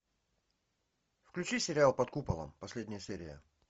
включи сериал под куполом последняя серия